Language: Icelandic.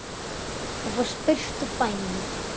Þú fórst burt úr bænum.